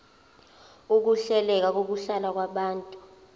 ukuhleleka kokuhlala kwabantu